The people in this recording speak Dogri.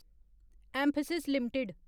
एमफैसिस लिमिटेड